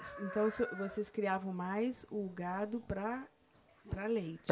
Então, o senhor, vocês criavam mais o gado para, para leite?